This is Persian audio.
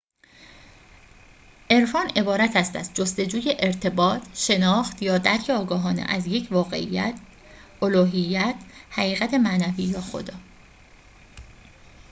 عرفان عبارت است از جستجوی ارتباط شناخت یا درک آگاهانه از یک واقعیت الوهیت حقیقت معنوی یا خدا